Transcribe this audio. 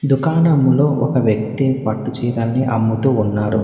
దుకాణంలో ఒక వ్యక్తి పట్టుచీరల్ని అమ్ముతూ ఉన్నారు.